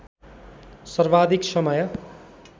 सर्वाधिक समय